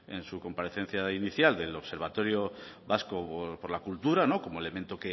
en su comparecencia inicial del observatorio vasco por la cultura como elemento